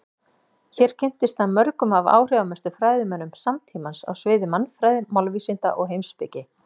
Hér kynntist hann mörgum af áhrifamestu fræðimönnum samtímans á sviði mannfræði, málvísinda og heimspeki.